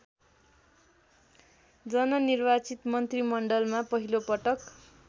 जननिर्वाचित मन्त्रीमण्डलमा पहिलोपटक